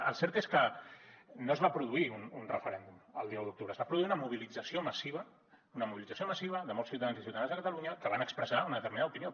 el cert és que no es va produir un referèndum el dia un d’octubre es va produir una mobilització massiva una mobilització massiva de molts ciutadans i ciutadanes de catalunya que van expressar una determinada opinió